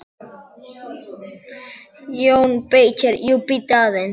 JÓN BEYKIR: Jú, bíddu aðeins!